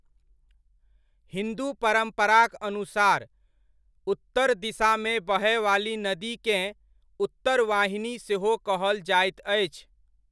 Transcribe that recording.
हिन्दू परम्पराक अनुसार, उत्तर दिशामे बहय वाली नदीकेँ उत्तरवाहिनी सेहो कहल जाइत अछि।